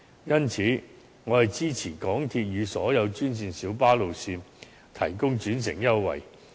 因此，我支持港鐵與所有專線小巴路線提供轉乘優惠。